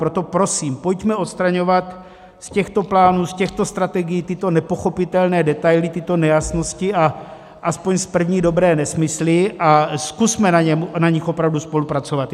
Proto prosím, pojďme odstraňovat z těchto plánů, z těchto strategií, tyto nepochopitelné detaily, tyto nejasnosti a aspoň z první dobré nesmysly a zkusme na nich opravdu spolupracovat.